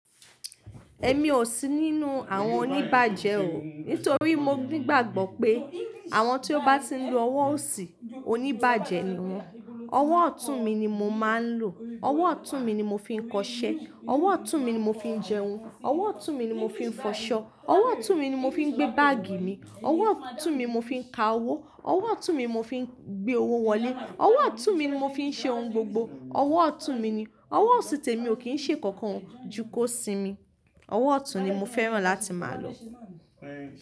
Ẹ̀mí ò sí nínú àwọn oníbàjẹ́ o. Nítorí mo nígbàgbọ́ pé àwọn tí ó bá ti ń lo ọwọ́ òsì, oníbàjẹ́ ni wọ́n. Ọwọ́ ọ̀tún-un mi ni mo máa ń lò. Ọwọ́ ọ̀tún-un mi ni mo fi ń kọṣẹ́, ọwọ́ ọ̀tún-un mi ni mo fi ń jẹun, ọwọ́ ọ̀tún-un mi ni mo fi ń f'ọṣọ. Ọwọ́ ọ̀tún-un mi ni mo fi ń gbé báàgì mi, ọwọ́ ọ̀tún-un mi mo fi ń ka owó, ọwọ́ ọ̀tún-un mi mo fi ń gbé owo wọlé, ọwọ́ ọ̀tún-un mi ni mo fi ń ṣe ohun gbogbo. Ọwọ́ ọ̀tún mi ni. Ọwọ́ òsì tẹ́mi ò kí ń ṣe nkankan oo jù kọ́ sí mi. Ọwọ́ ọ̀tún ni mo fẹ́ràn láti máa lò.